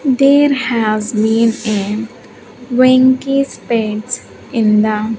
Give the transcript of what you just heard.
There has been a Winky's pets in the--